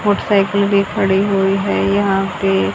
Motorcycle भी खड़ी हुई है यहां पे।